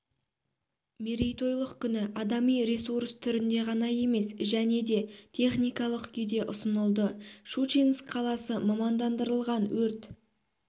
мерейтойлық күні адами ресурс түрінде ғана емес және де техникалық күйде ұсынылды щучинск қаласы мамандандырылған өрт